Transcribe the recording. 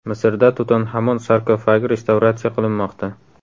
Misrda Tutanhamon sarkofagi restavratsiya qilinmoqda .